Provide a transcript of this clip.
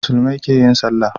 Muslumai keyin sallah